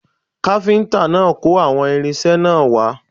Kápíntà náà ló kó àwọn irinṣẹ́ náà wá